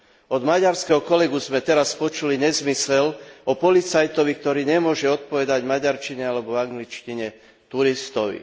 Od maďarského kolegu sme teraz počuli nezmysel o policajtovi, ktorý nemôže odpovedať v maďarčine alebo angličtine turistovi.